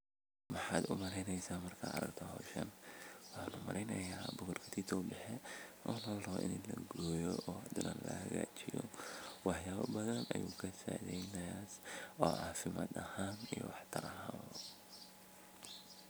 Mxad u maleyneysa markad aragto hoshan, mxa u maleyneysa bocor katitow bexe o larabo in lagoyo o hadana lahagajiyo waxyaba badan ayu kasacideynaya oo cafimad ahan iyo wax taro.